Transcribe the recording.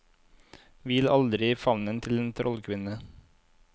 Hvil aldri i favnen til en trollkvinne.